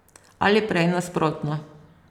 Ali prej nasprotno.